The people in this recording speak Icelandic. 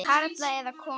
Karla eða konur.